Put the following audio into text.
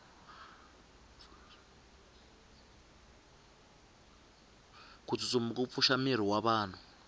kutsutsuma kupfusha miri wavanhu